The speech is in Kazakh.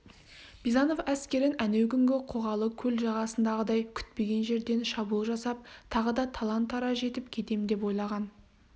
бизанов әскерін әнеукүнгі қоғалы көл жағасындағыдай күтпеген жерден шабуыл жасап тағы да талан-тараж етіп кетем деп ойлаған